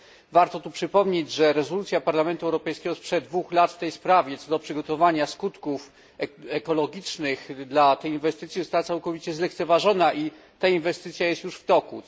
Warto tu przypomnieć, że rezolucja Parlamentu Europejskiego sprzed dwóch lat w tej sprawie, co do przygotowania skutków ekologicznych dla tej inwestycji, została całkowicie zlekceważona i inwestycja ta jest już w toku.